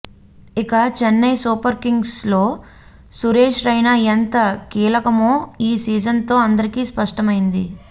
ఇక చెన్నై సూపర్ కింగ్స్లో సురేశ్ రైనా ఎంత కీలకమో ఈ సీజన్తో అందరికి స్పష్టమైంది